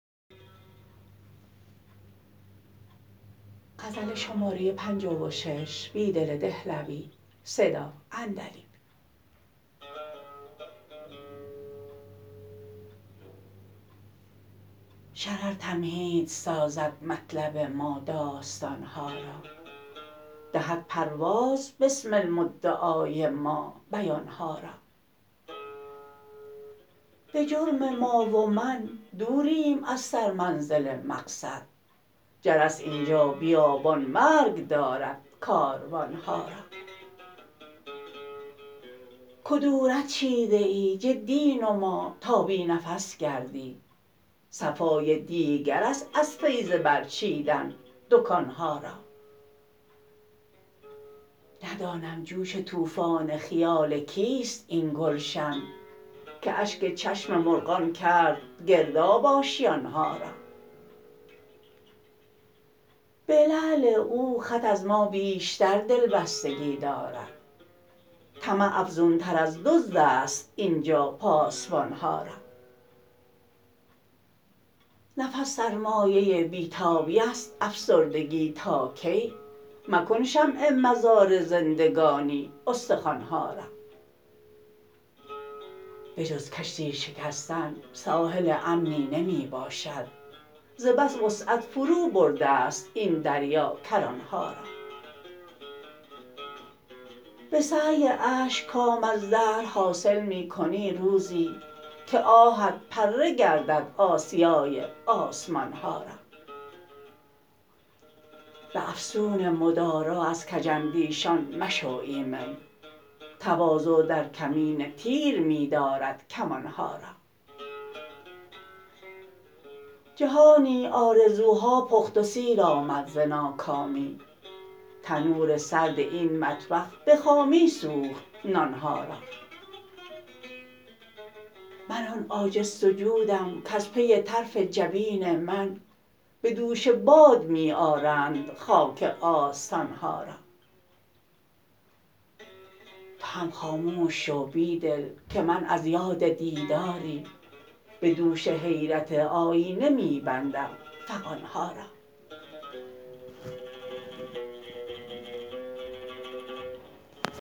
شرر تمهید سازد مطلب ما داستان ها را دهد پرواز بسمل مدعای ما بیان ها را به جرم ما و من دوریم از سرمنزل مقصد جرس اینجا بیابان مرگ دارد کاروان ها را کدورت چیده ای جدی نما تا بی نفس گردی صفای دیگرست از فیض برچیدن دکان ها را ندانم جوش توفان خیال کیست این گلشن که اشک چشم مرغان کرد گرداب آشیان ها را به لعل او خط از ما بیشتر دل بستگی دارد طمع افزون تر از دزدست اینجا پاسبان ها را نفس سرمایه بیتابی ست افسردگی تا کی مکن شمع مزار زندگانی استخوان ها را به جز کشتی شکستن ساحل امنی نمی باشد ز بس وسعت فروبرده ست این دریا کران ها را به سعی اشک کام از دهر حاصل می کنی روزی که آهت پره گردد آسیای سمان ها را به افسون مدارا از کج اندیشان مشو ایمن تواضع در کمین تیر می دارد کمان ها را جهانی آرزوها پخت و سیر آمد ز ناکامی تنور سرد این مطبخ به خامی سوخت نان ها را من آن عاجز سجودم کز پی طرف جبین من به دوش باد می آرند خاک آستان ها را تو هم خاموش شو بیدل که من از یاد دیداری به دوش حیرت آیینه می بندم فغان ها را